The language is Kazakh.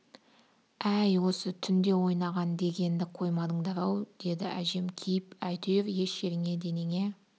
әй осы түнде ойнаған дегенді қоймадыңдар-ау деді әжем кейіп әйтеуір еш жеріңе денеңе